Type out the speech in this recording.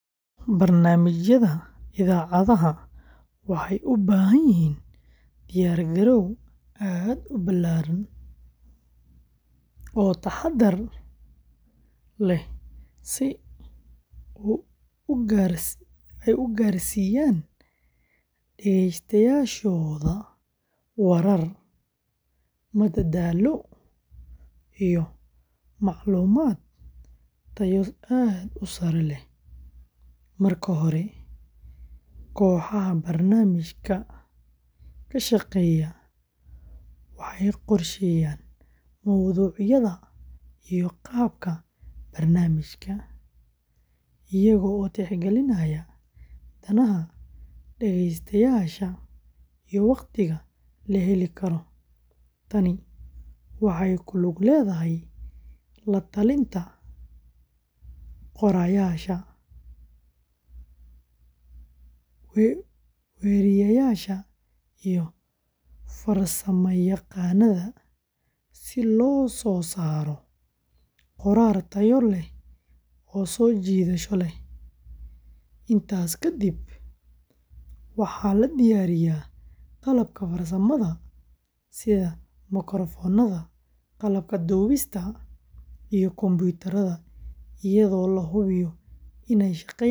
Barnamijaada idhacadaha waxee ubahan yihin diyar garo aad u balaran oo taxadar leh si ee u garsiyan dagesta warar madadalo iyo maclumaad tayo aad u sare leh, marka hore koxaha barnamijka kashaqeya waxee qorsheyan qabka barnamijka iyaga oo tix galinaya micnaha dagestayasha iyo waqtiga laheli karo, tani waxee ku lug ledhahay latalinta qorayashaa, wariyayasha iyo farsama yaqanadha si lo sosaro qorar tayo leh oo sojidasho leh inta kadiib waxaa la diyariya qalabka farsamaada wada dubista iyo konbiradha madadasha.